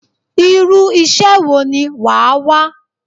Irú iṣẹ́ wo ni wàá wá?